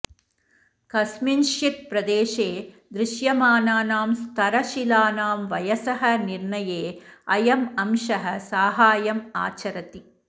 कस्मिंश्चित् प्रदेशे दृश्यमानानां स्तरशिलानां वयसः निर्णये अयम् अंशः साहाय्यम् आचरति